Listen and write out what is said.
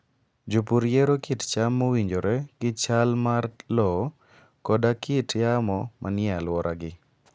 Jopur yiero kit cham mowinjore gi chal mar lowo koda kit yamo manie alworagi.